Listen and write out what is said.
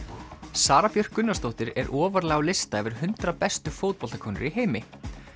Sara Björk Gunnarsdóttir er ofarlega á lista yfir hundrað bestu fótboltakonur í heimi